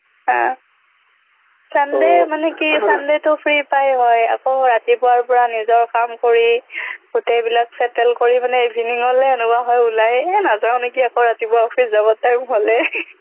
হা sunday মানে কি sunday টো free পাই হয় আকৌ ৰাতিপুৱাৰ পৰা নিজৰ কাম কৰি গোটেইবিলাক settle কৰি মানে evening লে এনেকুৱা হয় ওলাই এই নাযাওঁ নেকি আকৌ ৰাতিপুৱা office যাবৰ time হ'লেই